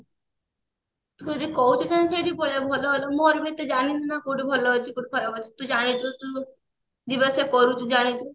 ତୁ ଯଦି କହୁଛୁ ତାହେଲେ ସେଇଠି କି ପଳେଇବା ଭଲ ମୋର ବି ଏତେ ଜାଣିନି ନା କୋଉଠି ଭଲ ଅଛି କୋଉଠି ଖରାପ ଅଛି ତୁ ଜାଣିଛୁ ତୁ ଯିବା ଆସିବା କରୁଛୁ ତୁ ଜାଣିଛୁ